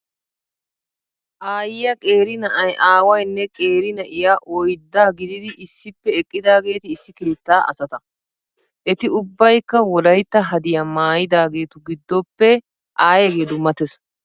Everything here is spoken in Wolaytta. Aayiyaa, qeeri na"ay, aawaynne qeeri na"iya oyddaa gididi issippe eqqidaageeti issi keettaa asata. Eti ubbaykka wolaytta hadiyaa maayyidaageetu giddoppe aayeegee dummattes.